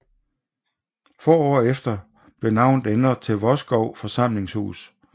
Få år efter blev navnet ændret til Vodskov Samlingshus